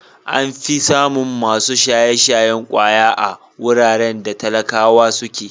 An fi samun masu shaye-shayen ƙwaya a wuraren da talakawa suke.